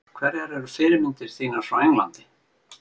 Hverjar eru fyrirmyndir þínar frá Englandi?